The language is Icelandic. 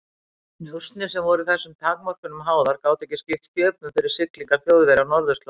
Njósnir, sem voru þessum takmörkunum háðar, gátu ekki skipt sköpum fyrir siglingar Þjóðverja á norðurslóðum.